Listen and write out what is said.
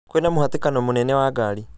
kwĩna mũhatĩkano mũnene wa ngari